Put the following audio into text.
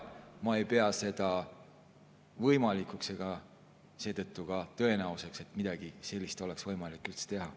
Ma ei pea seda võimalikuks ega pea seetõttu ka tõenäoliseks, et midagi sellist oleks võimalik üldse teha.